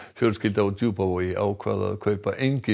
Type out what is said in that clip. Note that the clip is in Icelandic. fjölskylda á Djúpavogi ákvað að kaupa engin